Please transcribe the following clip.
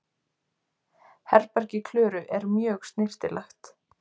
Herbergi Klöru er mjög snyrtilegt.